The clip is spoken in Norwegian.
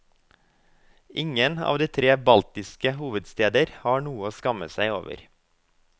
Ingen av de tre baltiske hovedsteder har noe å skamme seg over.